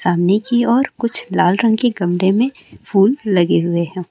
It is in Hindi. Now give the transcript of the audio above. चाँदीनी की और कुछ लाल रंग के गमले में फूल लगे हुवे हैं।